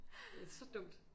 Så dumt